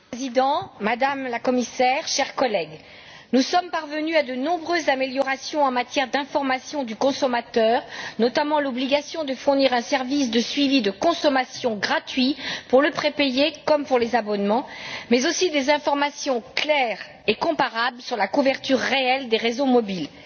Monsieur le Président, Madame la Commissaire, chers collègues, nous sommes parvenus à de nombreuses améliorations en matière d'information du consommateur, notamment l'obligation de fournir un service de suivi de consommation gratuit pour le prépayé comme pour les abonnements, mais aussi des informations claires et comparables sur la couverture réelle des réseaux mobiles.